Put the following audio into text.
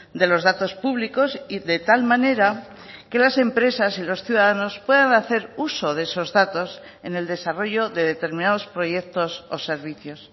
de los datos públicos y de tal manera que las empresas y los ciudadanos puedan hacer uso de esos datos en el desarrollo de determinados proyectos o servicios